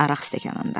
Araq stəkanında.